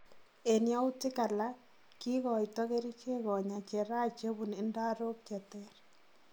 En yautik alak, kikoito kerichek konya cheraha chebun ndarok cheter